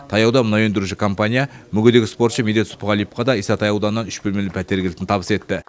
таяуда мұнай өндіруші компания мүгедек спортшы медет сұпығалиевқа да исатай ауданынан үш бөлмелі пәтер кілтін табыс етті